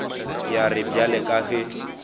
ya re bjale ka ge